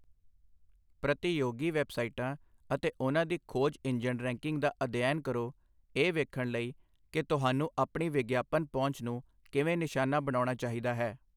ਪ੍ਰਤੀਯੋਗੀ ਵੈੱਬਸਾਈਟਾਂ ਅਤੇ ਉਹਨਾਂ ਦੀ ਖੋਜ ਇੰਜਣ ਰੈਂਕਿੰਗ ਦਾ ਅਧਿਐਨ ਕਰੋ ਇਹ ਵੇਖਣ ਲਈ, ਕਿ ਤੁਹਾਨੂੰ ਆਪਣੀ ਵਿਗਿਆਪਨ ਪਹੁੰਚ ਨੂੰ ਕਿਵੇਂ ਨਿਸ਼ਾਨਾ ਬਣਾਉਣਾ ਚਾਹੀਦਾ ਹੈ।